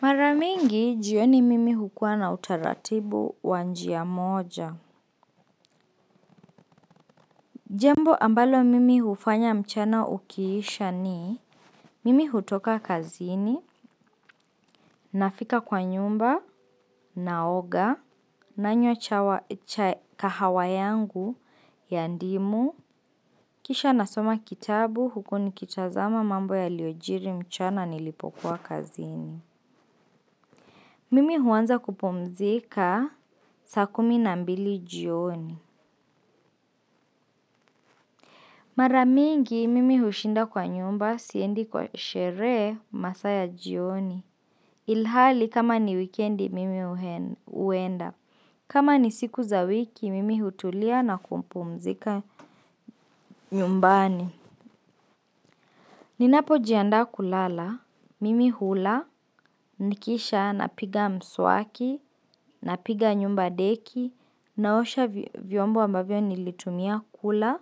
Maramingi, jioni mimi hukua na utaratibu wanjia moja. Jambo ambalo mimi hufanya mchana ukiisha ni, mimi hutoka kazini, nafika kwa nyumba, naoga, na nywa kahawayangu ya ndimu, kisha nasoma kitabu hukuni kitazama mambo ya liojiri mchana nilipokuwa kazini. Mimi huanza kupumzika sa kumi na mbili jioni. Maramingi mimi hushinda kwa nyumba siendi kwa sheree masaya jioni. Ilhali kama ni weekendi mimi huenda. Kama ni siku za wiki mimi hutulia na kumpumzika nyumbani. Ninapo jianda kulala. Mimi hula nikisha napiga mswaki. Napiga nyumba deki. Naosha vyombo ambavyo nilitumia kula.